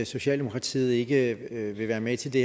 socialdemokratiet ikke vil være med til det